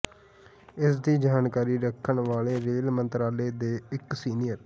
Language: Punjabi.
ਇਸ ਦੀ ਜਾਣਕਾਰੀ ਰੱਖਣ ਵਾਲੇ ਰੇਲ ਮੰਤਰਾਲੇ ਦੇ ਇਕ ਸੀਨੀਅਰ